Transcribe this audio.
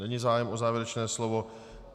Není zájem o závěrečné slovo.